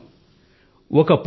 అవును సర్